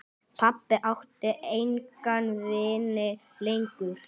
Pabbi átti enga vini lengur.